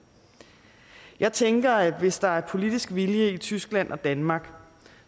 jeg tænker at hvis der er politisk vilje i tyskland og danmark